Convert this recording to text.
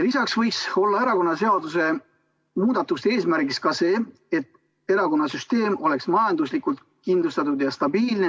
Lisaks võiks olla erakonnaseaduse muutmise eesmärgiks ka see, et erakonnasüsteem oleks majanduslikult kindlustatud ja stabiilne.